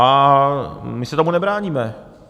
A my se tomu nebráníme.